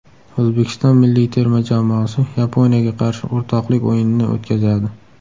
O‘zbekiston milliy terma jamoasi Yaponiyaga qarshi o‘rtoqlik o‘yinini o‘tkazadi.